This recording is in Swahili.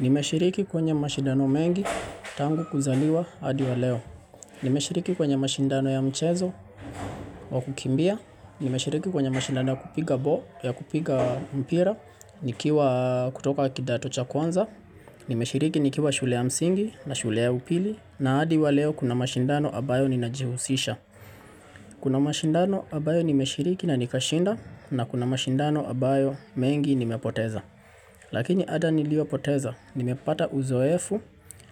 Nimeshiriki kwenye mashindano mengi tangu kuzaliwa adi wa leo. Nimeshiriki kwenye mashindano ya mchezo wa kukimbia. Nimeshiriki kwenye mashindano ya kupiga ball, ya kupiga mpira, nikiwa kutoka kidato cha kwanza. Nimeshiriki nikiwa shule ya msingi na shule ya upili. Na adi wa leo kuna mashindano ambayo ninajihusisha. Kuna mashindano ambayo nimeshiriki na nikashinda na kuna mashindano ambayo mengi nimepoteza. Lakini ada nilio poteza, nimepata uzoefu